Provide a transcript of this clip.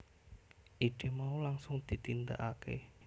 Ide mau langsung ditindakake